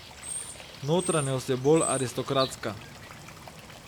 Notranjost je bolj aristokratska.